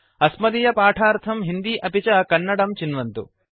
अस्मदीयपाठार्थं हिन्दी अपि च कन्नडं चिन्वन्तु